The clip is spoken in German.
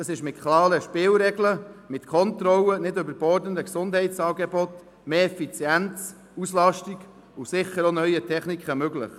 Dies ist mit klaren Spielregeln, mit Kontrollen, nicht überbordenden Gesundheitsangeboten, mehr Effizienz, Auslastung und sicher auch neuen Techniken möglich.